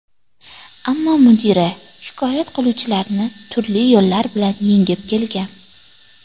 Ammo mudira shikoyat qiluvchilarni turli yo‘llar bilan yengib kelgan.